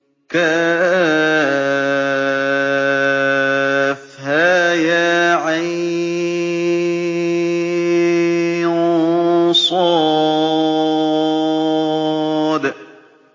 كهيعص